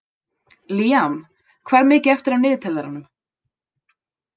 Liam, hvað er mikið eftir af niðurteljaranum?